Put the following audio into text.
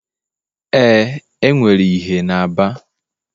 Ee, enwere ìhè na Aba